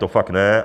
To fakt ne.